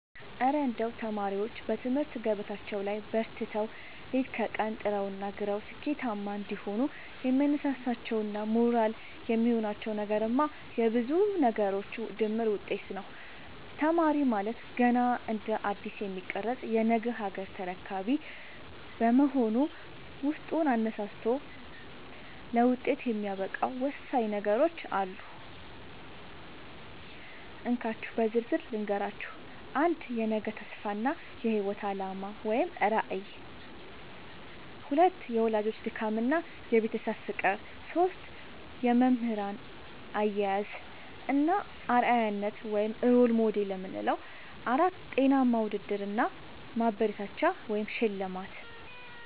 እረ እንደው ተማሪዎች በትምህርት ገበታቸው ላይ በርትተው፣ ሌት ከቀን ጥረውና ግረው ስኬታማ እንዲሆኑ የሚያነሳሳቸውና ሞራል የሚሆናቸው ነገርማ የብዙ ነገሮች ድምር ውጤት ነው! ተማሪ ማለት ገና እንደ አዲስ የሚቀረጽ የነገ ሀገር ተረካቢ በመሆኑ፣ ውስጡን አነሳስቶ ለውጤት የሚያበቃው ወሳኝ ነገሮች አሉ፤ እንካችሁ በዝርዝር ልንገራችሁ - 1. የነገ ተስፋ እና የህይወት አላማ (ራዕይ) 2. የወላጆች ድካምና የቤተሰብ ፍቅር 3. የመምህራን አያያዝ እና አርአያነት (Role Model) 4. ጤናማ ውድድር እና ማበረታቻ (ሽልማት)